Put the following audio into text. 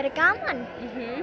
gaman